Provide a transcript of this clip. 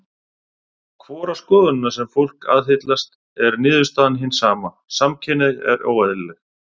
Hvora skoðunina sem fólk aðhyllist er niðurstaðan hin sama: Samkynhneigð er óeðlileg.